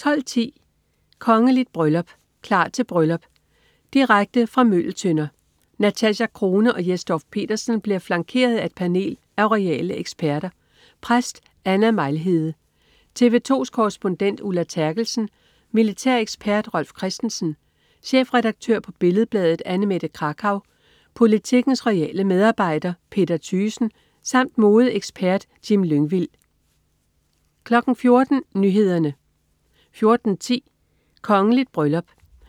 12.10 Kongeligt bryllup. Klar til bryllup. Direkte fra Møgeltønder. Natasja Crone og Jes Dorph-Petersen bliver flankeret af et panel af royale eksperter; præst Anna Mejlhede, TV 2s korrespondent Ulla Terkelsen, militærekspert Rolf Christensen, chefredaktør på Billed-Bladet, Annemette Krakau, Politikens royale medarbejder, Peter Thygesen, samt modeekspert Jim Lyngvild 14.00 Nyhederne 14.10 Kongeligt bryllup.